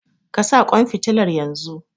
Ka sa ƙwan fitilan yanzu!